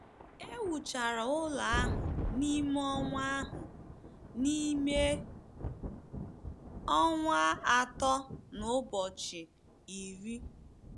E wuchara ụlọ ahụ n’ime ọnwa ahụ n’ime ọnwa atọ na ụbọchị iri.